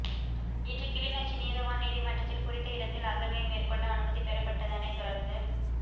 இன்று கிளிநொச்சி நீதவான் நீதிமன்றத்தில் குறித்த இடத்தில் அகழ்வை மேற்கொள்ள அனுமதி பெறப்பட்டதனைத் தொடர்ந்து